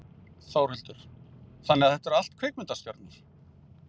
Þórhildur: Þannig að þetta eru allt kvikmyndastjörnur?